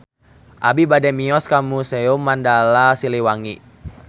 Abi bade mios ka Museum Mandala Siliwangi